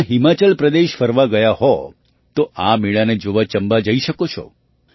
જો તમે હિમાચલ પ્રદેશ ફરવા ગયા હો તો આ મેળાને જોવા ચંબા જઈ શકો છો